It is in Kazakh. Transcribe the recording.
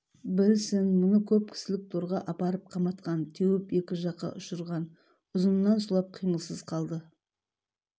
білсін мұны көп кісілік торға апарып қаматқан теуіп екі жаққа ұшырған ұзынынан сұлап қимылсыз қалды